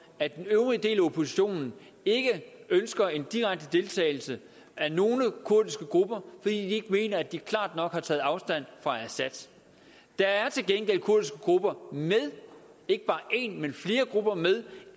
at den øvrige del af oppositionen ikke ønsker en direkte deltagelse af nogle kurdiske grupper fordi ikke mener at de klart nok har taget afstand fra assad der er til gengæld kurdiske grupper ikke bare en men flere grupper med